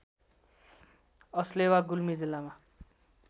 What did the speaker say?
अस्लेवा गुल्मी जिल्लामा